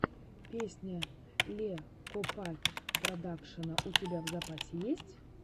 песня ле копакь продакшена у тебя в запасе есть